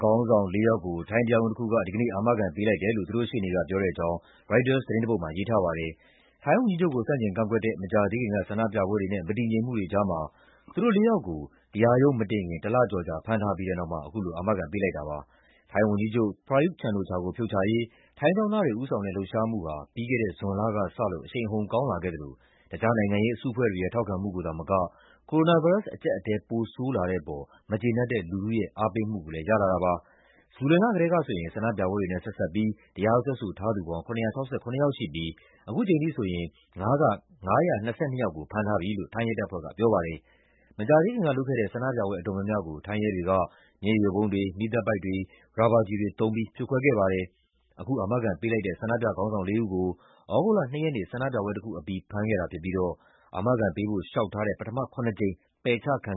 ခေါင်းဆောင် လေးယောက်ကို ထိုင်းတရားရုံးတခုက ဒီကနေ့ အာမခံပေးလိုက်တယ်လို့ သူတို့ရှေ့နေကပြောတဲ့အကြောင်း ရိုက်တာသတင်းတပုဒ်မှာ ရေးထားပါတယ်။ ထိုင်းဝန်ကြီးချုပ်ကို ဆန့်ကျင်ကန့်ကွက်တဲ့ မကြာသေးခင်က ဆန္ဒပြပွဲတွေနဲ့ မတည်ငြိမ်မှုတွေကြားမှာ သူတို့လေးယောက်ကို တရားရုံးမတင်ခင် တလကျော်ကြာ ဖမ်းထားပြီးတဲ့နောက် အခု အာမခံပေးလိုက်တာပါ။ ထိုင်းဝန်ကြီးချုပ် Prayuth Chan-ocha ကို ဖြုတ်ချရေး ထိုင်းကျောင်းသားတွေ ဦးဆောင်တဲ့ လှုပ်ရှားမှုဟာ ပြီးခဲ့တဲ့ ဇွန်လကစလို့အရှိန်အဟုန်ကောင်းလာခဲ့သလို တခြားနိုင်ငံရေးအစုအဖွဲ့တွေရဲ့ ထောက်ခံမှုကိုသာမက ကိုရိုနာဗိုင်းရပ်စ် အကျပ်အတည်း ပိုဆိုးလာတဲ့အပေါ် မကျေနပ်တဲ့လူထုရဲ့ အားပေးမှုကိုလည်း ရလာတာပါ။ ဇူလိုင်လကတည်းကဆိုရင် ဆန္ဒပြပွဲတွေနဲ့ဆက်စပ်ပြီး တရားစွဲဆိုထားသူပေါင်း ၇၆၇ ယောက်ရှိပြီး အခုချိန်ထိဆိုရင် ၅၂၂ ယောက်ကို ဖမ်းထားပြီလို့ ထိုင်းရဲတပ်ဖွဲ့က ပြောပါတယ်။ မကြာသေးခင်ကလုပ်ခဲ့တဲ့ ဆန္ဒပြပွဲအတော်များများကို ထိုင်းရဲတွေက မျက်ရည်ယိုဗုံးတွေ၊ မီးသတ်ပိုက်တွေ၊ ရာဘာကျည်တွေသုံးပြီး ဖြိုခွဲခဲ့ပါတယ်။ အခု အာမခံပေးလိုက်တဲ့ ဆန္ဒပြခေါင်းဆောင်လေးဦးကို သြဂုတ်လ ၂ ရက်နေ့ ဆန္ဒပြပွဲတခုအပြီး ဖမ်းခဲ့တာဖြစ်ပြီး အာမခံပေးဖို့ လျှောက်ထားတဲ့ ပထမ ခုနစ်ကြိမ် ပယ်ချခံ